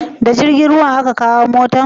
Da jirgin ruwa a ka kawo motan?